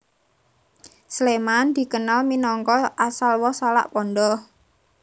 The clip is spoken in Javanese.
Sléman dikenal minangka asal woh salak pondoh